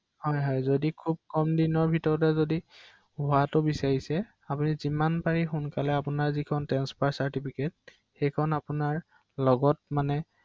বেছি সোনকালে কৰাৰ ৷হয়